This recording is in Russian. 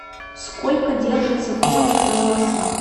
сколько держится тоник на волосах